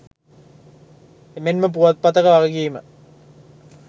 එමෙන්ම පුවත්පතක වගකීම